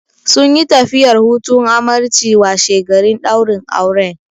Sunyi tafiyar hutun amarci washegarin ɗaurin auren.